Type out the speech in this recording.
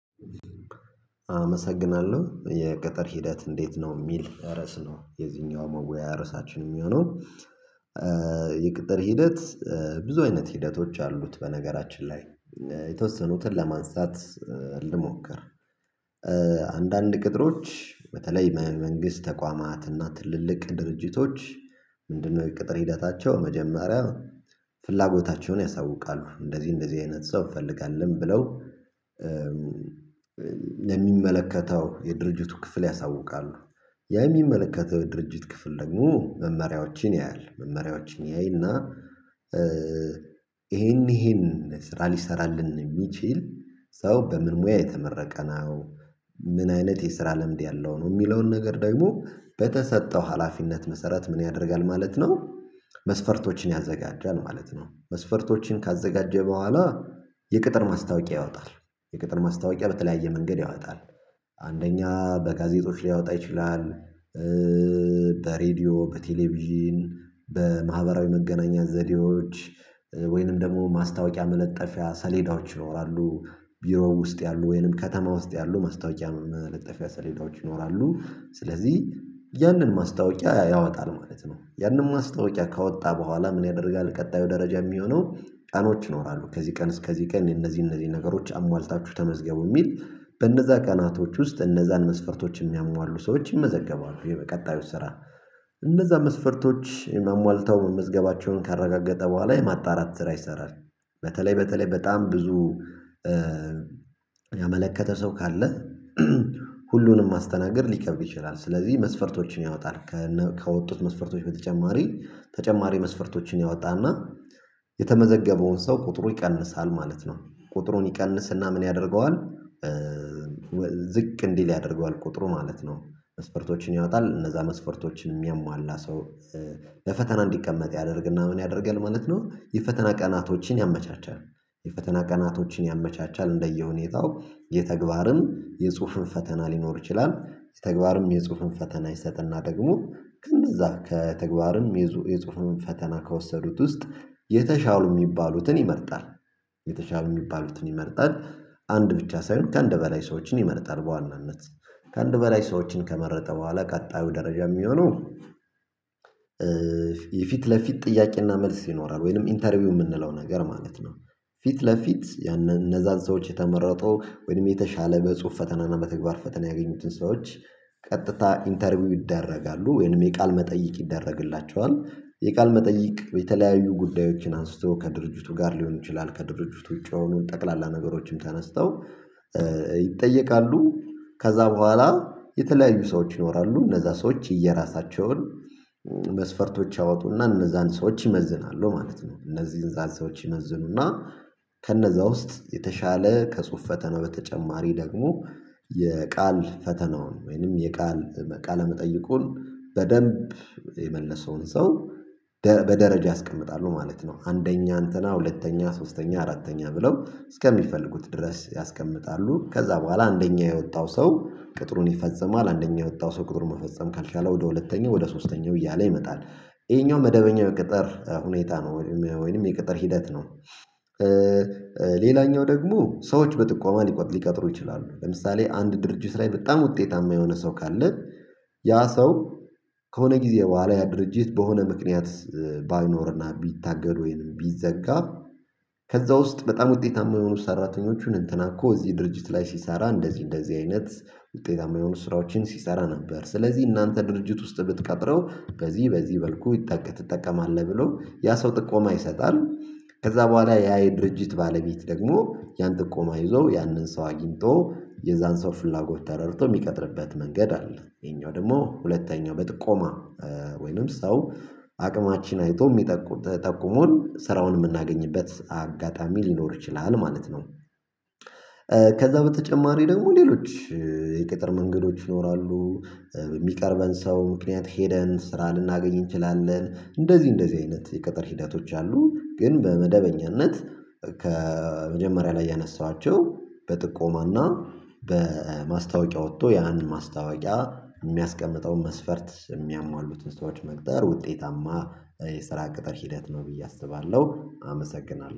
አመሰግናለሁ። የቅጥር ሂደት እንዴት ነው? የሚል ርዕስ ነው የዚህኛው መወያያ ርዕሳችን የሚሆነው። የቅጥር ሂደት ብዙ አይነት ሂደቶች አሉት። በነገራችን ላይ የተወሰኑትን ለማንሳት ልሞክር አንዳንድ ቅጥሮች በተለይ በመንግስት ተቋማትና ትልልቅ ድርጅቶች ምንድነው የቅጥር ሂደታቸው መጀመሪያ ፍላጎታቸውን ያሳውቃሉ። እንደዚህ እንደዚህ አይነት ሰው እፈልጋለሁ ብለው ለሚመለከተው የድርጅቱ ክፍል ያሳውቃሉ ያ የሚመለከተው ድርጅት ክፍል ደግሞ መመሪያዎችን ያያል መመሪያዎችን ያይና ይሄን ይሄን ስራ ሊሰራልን የሚችል ሰው በምን ሙያ የተመረቀ ነው? ምን አይነት የስራ ለምድ ያለው ነው? የሚለውን ነገር ደግሞ በተሰጠው ሀላፊነት መሰረት ምን ያደርጋል ማለት ነው መስፈርቶችን ያዘጋጃል ማለት ነው። መስፈርቶችን ካዘጋጀ በኋላ የቅጥር ማስታወቂያ ያወጣል የቅጥር ማስታወቂያ በተለያየ መንገድ ያወጣል። አንደኛ በጋዜጦች ሊያወጣ ይችላል በሬዲዮ በቴሌቪዥን በማህበራዊ መገናኛ ዘዴዎች ወይንም ደግሞ ማስታወቂያ መለጠፊያ ሰሌዳዎች ይኖራሉ ቢሮው ውስጥ ያሉ ወይንም ከተማ ውስጥ ያሉ ማስታወቂያ መለጠፊያ ሰሌዳዎች ይኖራሉ። ስለዚህ ያንን ማስታወቂያ ያወጣል ማለት ነው ያንንም ማስታወቂያ ካወጣ በኋላ ምን ያደርጋል ቀጣዩ ደረጃ የሚሆነው ጫኖች ይኖራሉ ከዚህ ቀን እስከዚህ ቀን እነዚህ እነዚህ ነገሮች አሟልታችሁ ተመዝገቡ የሚል በእነዛ ቀናቶች ውስጥ እነዛን መስፈርቶች የሚያሟሉ ሰዎች ይመዘገባሉ። የቀጣዩት ስራ እነዛ መስፈርቶች አሟልተው መመዝገባቸውን ካረጋገጠ በኋላ የማጣራት ስራ ይሰራል። በተለይ በተለይ በጣም ብዙ ያመለከተ ሰው ካለ ሁሉንም ማስተናገድ ሊከብድ ይችላል ስለዚህ መስፈርቶችን ያወጣል ከወጡት መስፈርቶች በተጨማሪ ተጨማሪ መስፈርቶችን ያወጣና የተመዘገበውን ሰው ቁጥሩ ይቀንሳል ማለት ነው ቁጥሩን ይቀንስና ምን ያደርገዋል ዝቅ እንዲል ያደርገዋል ቁጥሩ ማለት ነው መስፈርቶችን ያወጣል እነዛ መስፈርቶችን የሚያሟላ ሰው ለፈተና እንዲቀመጥ ያደርግና ምን ያደርጋል ማለት ነው የፈተና ቀናቶችን ያመቻቻል የፈተና ቀናቶችን ያመቻቻል እንደየሁኔታው የተግባርም የጽሁፍም ፈተና ሊኖር ይችላል። የተግባርም የጽሁፍን ፈተና ይሰጥና ደግሞ ከእነዛ ከተግባርም የጽሁፉን ፈተና ከወሰዱት ውስጥ የተሻሉ የሚባሉትን ይመርጣል። የተሻሉ የሚባሉትን ይመርጣል አንድ ብቻ ሳይሆን ከአንድ በላይ ሰዎችን ይመርጣል በዋናነት። ከአንድ በላይ ሰዎችን ከመረጠ በኋላ ቀጣዩ ደረጃ የሚሆነው የፊት ለፊት ጥያቄና መልስ ይኖራል ወይንም ኢንተርቪው የምንለው ነገር ማለት ነው ፊት ለፊት ያንን እነዛን ሰዎች የተመረጠው ወይም የተሻለ በጽሁፍ ፈተና እና በተግባር ፈተና ያገኙትን ሰዎች ቀጥታ ኢንተርቪው ይደረጋሉ ወይንም የቃል መጠይቅ ይደረግላቸዋል። የቃል መጠይቅ የተለያዩ ጉዳዮችን አንስቶ ከድርጅቱ ጋር ሊሆን ይችላል ከድርጅቱ ውጪ የሆኑ ጠቅላላ ነገሮችም ተነስተው ይጠየቃሉ። ከዛ በኋላ የተለያዩ ሰዎች ያወራሉ እነዛ ሰዎች የየራሳቸውን መስፈርቶች ያወጡና እነዛን ሰዎች ይመዝናሉ ማለት ነው። እነዚህ ሰዎች ይመዝኑና ከነዛ ውስጥ የተሻለ ከጽሁፍ ፈተና በተጨማሪ ደግሞ የቃል ፈተናውን ወይንም የቃል ቃለ መጠይቁን በደንብ የመለሰውን ሰው በደረጃ ያስቀምጣሉ ማለት ነው። አንደኛ አንተና ሁለተኛ ሶስተኛ አራተኛ ብለው እስከሚፈልጉት ድረስ ያስቀምጣሉ ከዛ በኋላ አንደኛ የወጣው ሰው ቅጥሩን ይፈጽማል አንደኛ የወጣው ሰው ቅጥር መፈጸም ካልቻለ ወደ ሁለተኛው ወደ ሶስተኛው እያለ ይመጣል። ይሄኛው መደበኛ ቅጥር ሁኔታ ነው ወይንም ወይንም የቅጥር ሂደት ነው። ሌላኛው ደግሞ ሰዎች በጥቋማ ሊቀጥሩ ይችላሉ ለምሳሌ አንድ ድርጅት ላይ በጣም ውጤታማ የሆነ ሰው ካለ ያ ሰው ከሆነ ጊዜ በኋላ ያ ድርጅት በሆነ ምክንያት ባይኖርና ቢታገድ ወይንም ቢዘጋ ከዛ ውስጥ በጣም ውጤታማ የሆኑ ሰራተኞችን እንትና እኮ እዚህ ድርጅት ላይ ሲሰራ እንደዚህ እንደዚህ አይነት ውጤታማ የሆኑ ስራዎችን ሲሰራ ነበር ስለዚህ እናንተ ድርጅት ውስጥ ብትቀጥረው በዚህ በዚህ በልኩ ትጠቀማለህ ብሎ ያ ሰው ጥቆማ ይሰጣል። ከዛ በኋላ ያ የድርጅት ባለቤት ደግሞ ያን ጥቆማ ይዞ ያንን ሰው አግኝቶ የዛን ሰው ፍላጎት ተረድቶ የሚቀጥርበት መንገድ አለ። ይሄኛው ደግሞ ሁለተኛው በጥቆማ ወይንም ሰው አቅማችን አይቶ ጠቁሞን ስራውን የምናገኝበት አጋጣሚ ሊኖር ይችላል ማለት ነው። ከዛ በተጨማሪ ደግሞ ሌሎች የቅጥር መንገዶች ይኖራሉ። የሚቀርበን ሰው ምክንያት ሄደን ስራ ልናገኝ እንችላለን እንደዚህ እንደዚህ አይነት የቅጥር ሂደቶች አሉ ግን በመደበኛነት ከመጀመሪያ ላይ ያነሳኋቸው በጥቆማና በማስታወቂያ ወጥቶ ያንን ማስታወቂያ የሚያስቀምጠውን መስፈርት የሚያሟሉትን ሰዎች መቅጠር ውጤታማ የስራ ቅጥር ሂደት ነው ብዬ አስባለሁ አመሰግናለሁ።